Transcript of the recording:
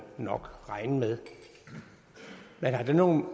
nok regne med man har det nogen